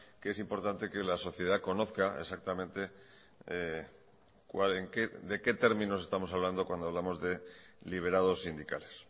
que es importante que la sociedad conozca exactamente de qué términos estamos hablando cuando hablamos de liberados sindicales